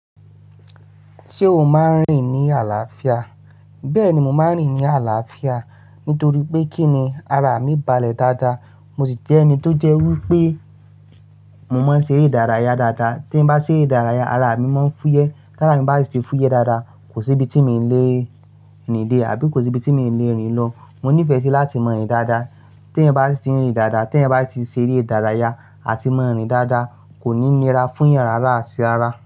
Ṣé o máa ń rìn ní àlàáfíà? Bẹ́ẹ̀ni, mo máa ń rìn ní àlàáfíà nítorí pé kíni ara mi balẹ̀ dáadáa. Mo sì jẹ́ ẹni tó jẹ́ wí pé mo máa ń ṣere ìdárayá dáadáa. Tí mo bá ṣe ere ìdárayá, ara mi máa ń fúyẹ́. Tára mi bá si ti fúyẹ́ dáadáa, kò sí ibi tí mi lè rín de àbí kò sí ibi tí mi lè rìn lọ. Mo nífẹ̀ẹ́ sí láti mọ rin dáadáa. Tẹ̀yan bá sì tiń rìn dáadáa, tí ẹ̀yan bá si ti ṣe ere ìdárayá àti mo ń rìn dáadáa, kò ní nira fún'yàn rárá atí ara.